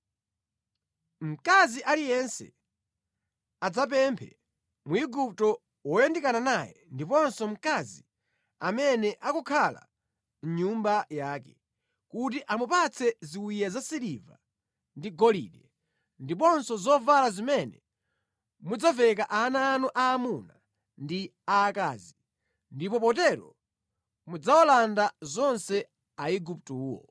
Mkazi aliyense adzapemphe Mwigupto woyandikana naye ndiponso mkazi amene akukhala mʼnyumba yake, kuti amupatse ziwiya za siliva ndi golide ndiponso zovala zimene mudzaveka ana anu aamuna ndi aakazi. Ndipo potero mudzawalanda zonse Aiguptowo.”